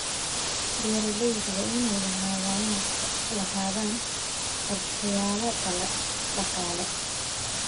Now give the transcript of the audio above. Beeralayda waa inay lahaadaan qorshayaal dhaqaale.